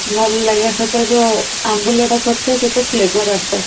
ଭଲ ଲାଗେ ସେଥିରେ ଯଉ ଆମ୍ବୁଲ ଟା ପଡି ଥାଏ ତା flavour ଆସିଥାଏ